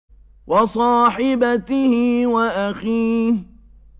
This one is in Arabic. وَصَاحِبَتِهِ وَأَخِيهِ